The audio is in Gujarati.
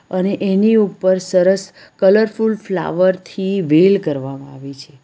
અને એની ઉપર સરસ કલરફુલ ફ્લાવર થી વેલ કરવામાં આવી છે.